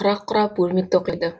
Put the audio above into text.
құрақ құрап өрмек тоқиды